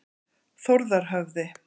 Þórðarhöfði